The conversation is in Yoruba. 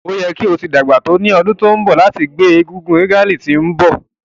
O yẹ ki o ti pọn to ni ọdun to nbọ lati jẹ ti ngbe egúngún regalia ti nbọ